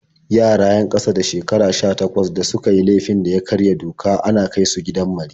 Yara 'yan ƙasa da shekaru 18 da suka yi laifin da ya karya doka ana kai su gidan mari.